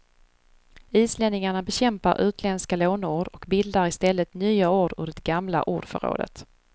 Islänningarna bekämpar utländska låneord och bildar istället nya ord ur det gamla ordförrådet.